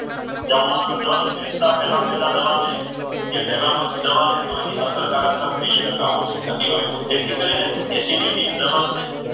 જમવાના just બેસતા પહેલા દવા લે કે તેના પછી દવા ન લે તો તેની અસરકારકતા ત્રીસ ટકા ઓછી થઈ જાય છે. જેથી કરીને acidity ની દવા છે.